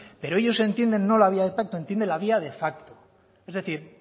pero ellos entienden no la vía de pacto entienden la vía de facto es decir